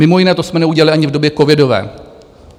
Mimo jiné, to jsme neudělali ani v době covidové.